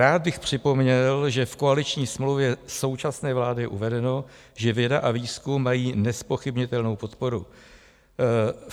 Rád bych připomněl, že v koaliční smlouvě současné vlády je uvedeno, že věda a výzkum mají nezpochybnitelnou podporu.